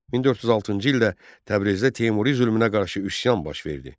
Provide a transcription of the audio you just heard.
1406-cı ildə Təbrizdə Teymuri zülmünə qarşı üsyan baş verdi.